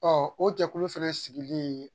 o jɛkulu fɛnɛ sigilen